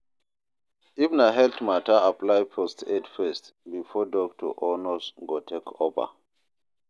If na health matter apply first aid first before doctor or nurse go take over